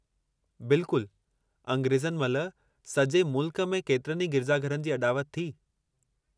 बिल्कुलु अंग्रेज़नि महिल सॼे मुल्क में केतिरनि ई गिरिजा घरनि जी अॾावत थी।